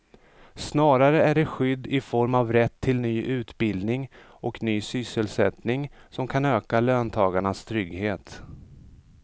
Snarare är det skydd i form av rätt till ny utbildning och ny sysselsättning som kan öka löntagarnas trygghet.